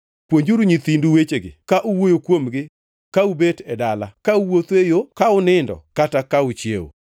Puonjuru nyithindu wechegi, ka uwuoyo kuomgi ka ubet e dala, ka uwuotho e yo, ka unindo kata ka uchiewo.